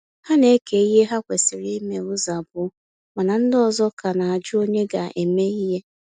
Ha na-eke ihe ha kwesịrị ime ụzọ abụọ mana ndị ọzọ ka na ajụ onye ga-eme ihe